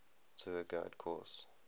tour guide course